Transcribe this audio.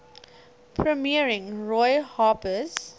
premiering roy harper's